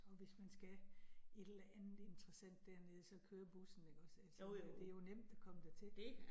Og hvis man skal et eller andet interessant dernede, så kører bussen ikke også altså, at det jo nemt at komme dertil